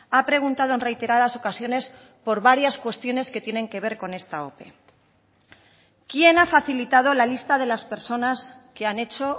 ha preguntado en reiteradas ocasiones por varias cuestiones que tienen que ver con esta ope quién ha facilitado la lista de las personas que han hecho